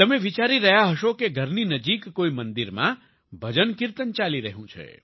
તમે વિચારી રહ્યા હશો કે ઘરની નજીક કોઈ મંદિરમાં ભજનકિર્તન ચાલી રહ્યું છે